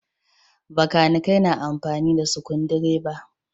Bakanikai na amfani da sukundireba.